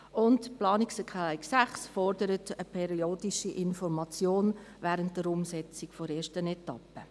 Die Planungserklärung 6 fordert eine periodische Information während der Umsetzung der ersten Etappe.